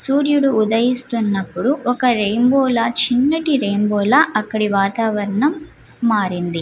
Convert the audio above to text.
సూర్యుడు ఉదయిస్తున్నపుడు ఒక రెయిన్బో ల చిన్నటి రెయిన్బో ల అక్కడ వాతావరణం మారింది .